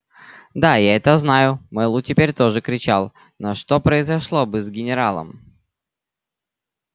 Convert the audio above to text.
да я это знаю мэллоу теперь тоже кричал но что произошло бы с генералом